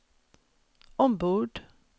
ombord